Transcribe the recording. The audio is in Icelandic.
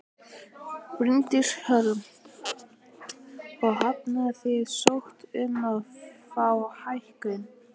Bryndís Hólm: Og hafið þið sótt um að fá hækkun?